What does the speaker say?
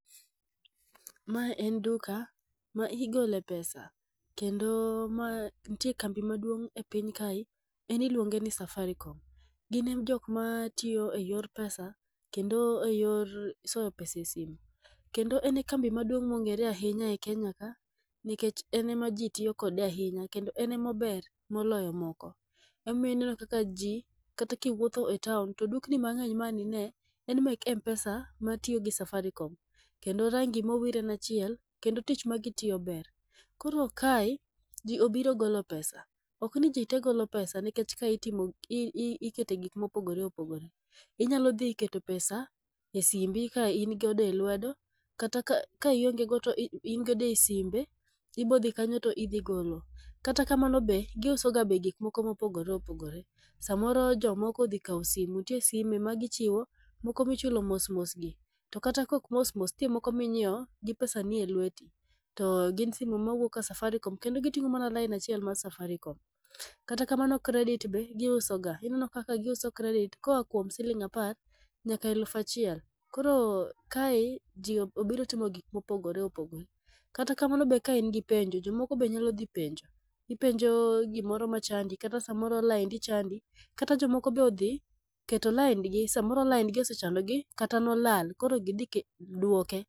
Mae en duka ma igole pesa kendo ma nie kambi maduong' e piny kae en iluonge ni safaricom. Gin e joma tiyo e yor pesa kendo e yore soyo pesa e simu kendo en e kambi maduong' mong'ere ahinya e kenya ka nikech en ema jii tiyo kode ahinya kendo enemober moloyo moko. Emomiyo ineno kaka jii kata kiwuotho e taon to dukni mang'eny ma an ine en mek mpesa matiyo gi safarikom kendo rangi mowir en achiel kendo tich magitiyo ber. Koro kae jii obiro golo pesa ok ni jite golo pesa nikech kae ikete gik mopogore opogore inyalo dhi keto pesa e simbi ka in godo e lwedo kata la ionge godo to in godo e simbe ibo dhi kanyo to idho golo. Kata kamano be giuso ga gik mopogore opogore .Samoro jomoko odhi kawo simo ntie simo ma gichiwo moko michulo mosmos gi kata kok mos mos ntie moko minyiewo gi pesa ni e lweti . To gin simo ma wuok ka safarikom kendo giting'o laina chiel mar safaricom. Kata kamano credit be giuso ga kineno ka gisuo credit koa kuom siling apar nyaka elufa chiel .Koro kae jii ob obiro timo gik mopogore opogore kata kamano ka in gi penjo jomoko be nyalo dhi penjo penjo gimoro machandi kata samoro laindi chandi, kata jomoko be odhi keto laindgi samoro laindgi osechandogi kata laindgi nolal koro gidhi duoke.